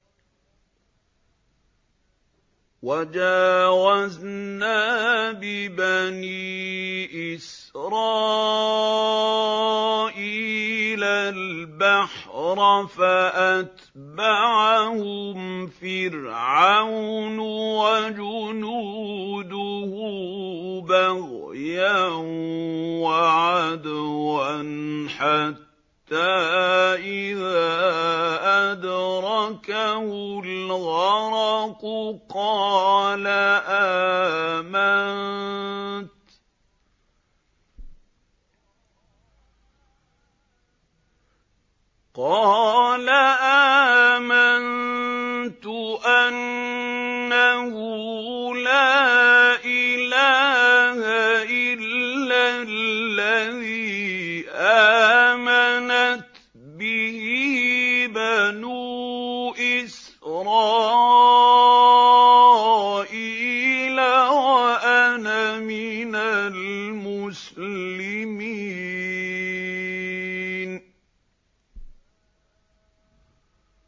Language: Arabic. ۞ وَجَاوَزْنَا بِبَنِي إِسْرَائِيلَ الْبَحْرَ فَأَتْبَعَهُمْ فِرْعَوْنُ وَجُنُودُهُ بَغْيًا وَعَدْوًا ۖ حَتَّىٰ إِذَا أَدْرَكَهُ الْغَرَقُ قَالَ آمَنتُ أَنَّهُ لَا إِلَٰهَ إِلَّا الَّذِي آمَنَتْ بِهِ بَنُو إِسْرَائِيلَ وَأَنَا مِنَ الْمُسْلِمِينَ